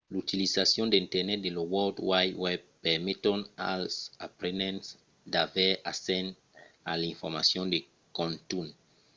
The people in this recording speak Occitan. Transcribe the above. l’utilizacion d’internet e lo world wide web permeton als aprenents d’aver accès a l’informacion de contunh